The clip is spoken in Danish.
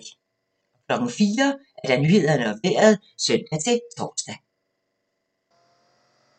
04:00: Nyhederne og Vejret (søn-tor)